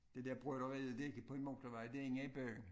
Det der broderiet det ikke på en motorvej det inde i byen